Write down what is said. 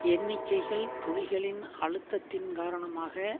எண்ணிக்கைகள் புலிகளின் அழுத்தத்தின் காரணமாக